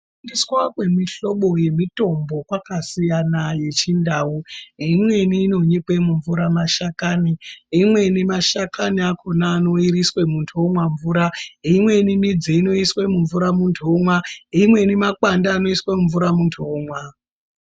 Kushandiswa kwemihlobo yemitombo kwakasiyana yechindau imweni inonyikwe mumvura mashakani, imweni mashakani akona anoiriswe muntu omwa mvura imweni midzi inoiswe mumwura muntu omwa, imweni makwande anoiswa mumvura muntu omwa.